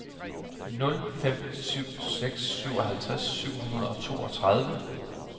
nul fem syv seks syvoghalvtreds syv hundrede og toogtredive